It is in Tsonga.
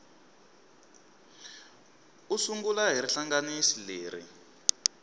u sungula hi rihlanganisi leri